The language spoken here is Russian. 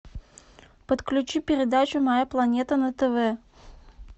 подключи передачу моя планета на тв